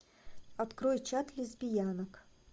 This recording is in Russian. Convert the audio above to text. открой чат лесбиянок